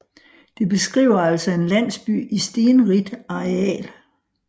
Det beskriver altså en landsby i stenrigt areal